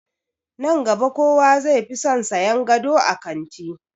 Nan gaba kowa zai fi son sayan gado a kanti.